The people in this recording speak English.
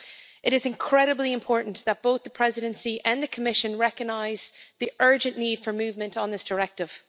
It is incredibly important that both the Presidency and the Commission recognise the urgent need for movement on this directive.